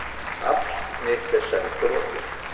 Afl mitt er senn þrotið.